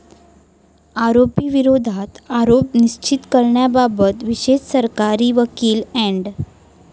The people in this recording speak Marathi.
आरोपी विरोधात आरोप निश्चित करण्याबाबत विशेष सरकारी वकील अॅड.